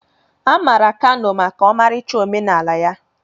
A maara Kano maka ọmarịcha omenala ya.